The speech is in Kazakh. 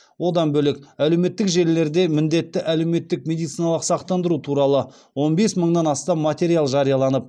одан бөлек әлеуметтік желілерде міндетті әлеуметтік медициналық сақтандыру туралы он бес мыңнан астам материал жарияланып